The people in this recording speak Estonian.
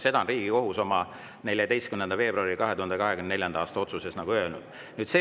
Seda on Riigikohus oma 14. veebruari 2024. aasta otsuses öelnud.